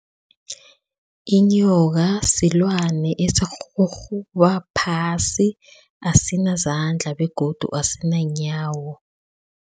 Inyoka silwane esirhurhuba phasi, asinazandla begodu asinanyawo.